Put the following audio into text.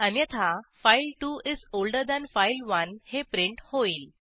अन्यथाfile2 is older than फाइल1 हे print होईल